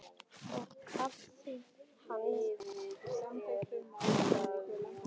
Og kaffið hans?